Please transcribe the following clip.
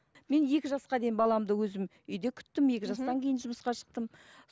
мен екі жасқа дейін баламды өзім үйде күттім екі жастан кейін жұмысқа шықтым